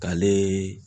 K'ale